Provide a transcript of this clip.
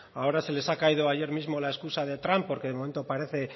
ahora se les ha caído ayer mismo la excusa de trump porque de momento parece